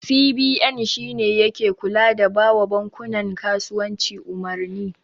CBN shine yake kula da bawa bankunan kasuwanci umarni.